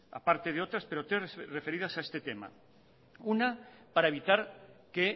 aparte de otras pero tres referidas a este tema una para evitar que